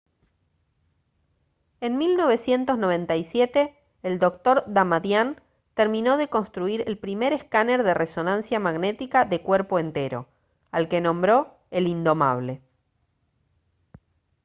en 1997 el dr. damadian terminó de construir el primer escáner de resonancia magnética de «cuerpo entero» al que nombró el «indomable»